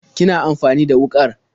Kina amfani da wuƙar?